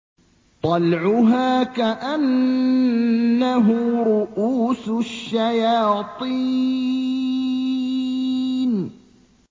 طَلْعُهَا كَأَنَّهُ رُءُوسُ الشَّيَاطِينِ